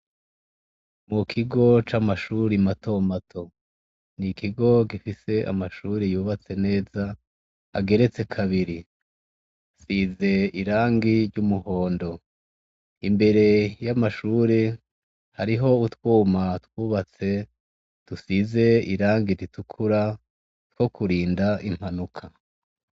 Mukigo c'amashuri matomato; n'ikigo gifise amashuri yubatse neza ageretse kabiri, asize irangi ry'umuhondo. Imbere hariho utwuma twubatse dusize irangi ritukura twakurinda impanuka.